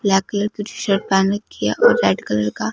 black colour की T shirt पेहने रखी है और रेड कलर का--